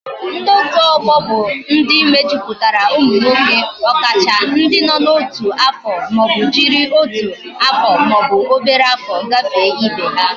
Ndi otu ogbo bu ndi mejuputara umu nwoke, okacha ndi no na otu afo ma obu jiri otu aro ma obu obere afo gafe Ibe ha